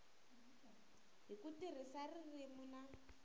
hi ku tirhisa ririmi na